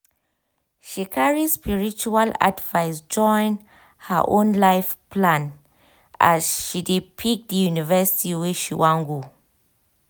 she carry spiritual advice join her own life plan as she dey pick di university wey she wan go